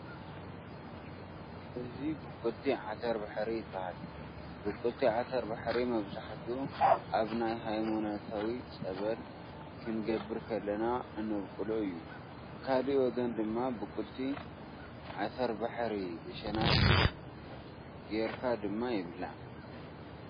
እዚ ቡቅልቲ ዓተባሕሪ ይባሃል። ቡቅልቲ ዓተባሕሪ መብዛሕትኡ ኣብ ናይ ሃይማኖታዊ ፀበል ክንገብር ከለና እንብቁሎ እዩ። ብካሊእ ወገን ድማ ቡቅልቲ ዓተባሕቲ ብሸናፊጥ ጌርካ ድማ ይብላዕ።